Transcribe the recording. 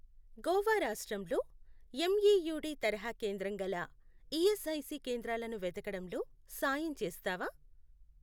గోవా రాష్ట్రంలో ఎమ్ఈయూడి తరహా కేంద్రం గల ఈఎస్ఐసి కేంద్రాలను వెతకడంలో సాయం చేస్తావా?